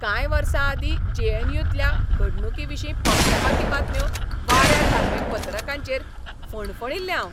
कांय वर्सां आदीं जे. एन. यू. तल्या घडणुकांविशीं पक्षपाती बातम्यो वाऱ्यार घालपी पत्रकारांचेर फणफणिल्लें हांव.